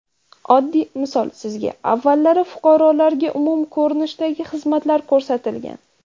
Oddiy misol sizga, avvallari fuqarolarga umumiy ko‘rinishdagi xizmatlar ko‘rsatilgan.